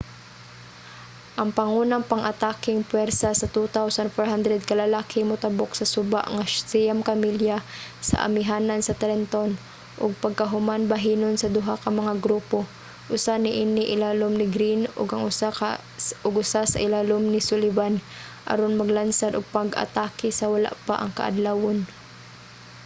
ang pangunang pang-atakeng puwersa sa 2,400 ka lalaki motabok sa suba nga siyam ka milya sa amihanan sa trenton ug pagkahuman bahinon sa duha ka mga grupo. usa niini ilalom ni greene ug ang usa sa ilalom ni sullivan aron maglansad og pag-atake sa wala pa ang kaadlawon